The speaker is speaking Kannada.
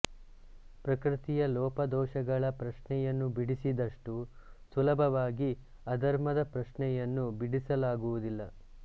ಪ್ರಕೃತಿಯ ಲೋಪದೋಶಗಳ ಪ್ರಶ್ನೆಯನ್ನು ಬಿಡಿಸಿದಷ್ಟು ಸುಲಭವಾಗಿ ಅಧರ್ಮದ ಪ್ರಶ್ನೆಯನ್ನು ಬಿಡಿಸಲಾಗುವುದಿಲ್ಲ